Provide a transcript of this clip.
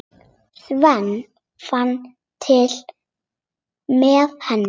Sveinn fann til með henni.